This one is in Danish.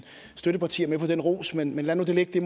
støttepartier med på den ros men lad nu det ligge